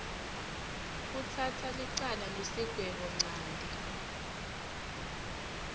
kutsatsa licala nesigwebonchanti